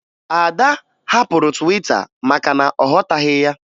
Ada hapụrụ Twita maka na ọ ghọtaghị ya